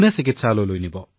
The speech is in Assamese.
সকলোৱে তেওঁলোকৰ চাকৰি এৰি আছে